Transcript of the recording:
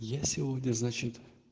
я сегодня значит